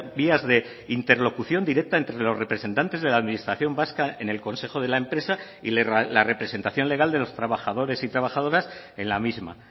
vías de interlocución directa entre los representantes de la administración vasca en el consejo de la empresa y la representación legal de los trabajadores y trabajadoras en la misma